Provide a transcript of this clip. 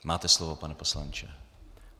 Máte slovo, pane poslanče.